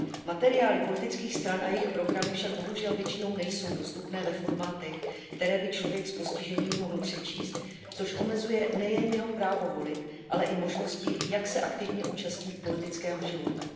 Materiály politických stran a jejich programy však bohužel většinou nejsou dostupné ve formátech, které by člověk s postižením mohl přečíst, což omezuje nejen jeho právo volit, ale i možnosti, jak se aktivně zúčastnit politického života.